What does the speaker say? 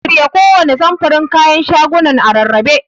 Shirya kowanne samfurin kayan shagonan a rarrabe.